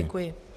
Děkuji.